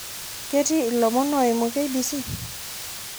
ketii ilommon oiyimu k.b.c